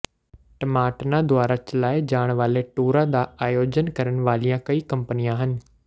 ਟਮਾਟਨਾ ਦੁਆਰਾ ਚਲਾਏ ਜਾਣ ਵਾਲੇ ਟੂਰਾਂ ਦਾ ਆਯੋਜਨ ਕਰਨ ਵਾਲੀਆਂ ਕਈ ਕੰਪਨੀਆਂ ਹਨ